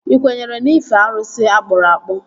Ị kwenyere n'ife arụsị akpụrụ akpụ?